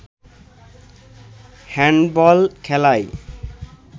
handball খেলায়